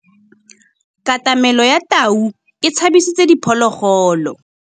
Katamêlô ya tau e tshabisitse diphôlôgôlô.